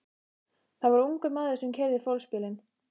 Það var ungur maður sem keyrði fólksbílinn.